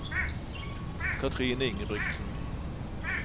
Katrine Ingebrigtsen